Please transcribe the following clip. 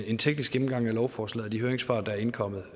en teknisk gennemgang af lovforslaget og de høringssvar der er indkommet